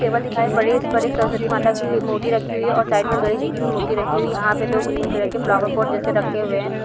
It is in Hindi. टेबल दिखाई पड़ रही है उस पर एक सरस्वती माता की मूर्ति रखी हुई है और साइड में गणेश जी की भी मूर्ति रखी हुई है और यहाँ पे दो ग्रीन कलर के फ्लावरपोट जैसे रखे हुए हैं।